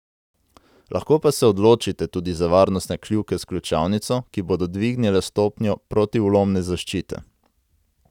Lahko pa se odločite tudi za varnostne kljuke s ključavnico, ki bodo dvignile stopnjo protivlomne zaščite.